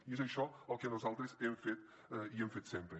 i és això el que nosaltres hem fet i hem fet sempre